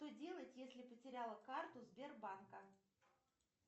что делать если потеряла карту сбербанка